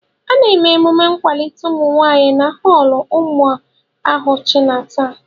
Ana eme emume nkwalite ụmụnwaanyị na họlụ umiachuna taa.